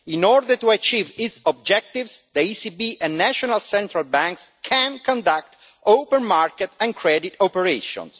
In order to achieve its objectives, the ECB and national central banks can conduct open market and credit operations.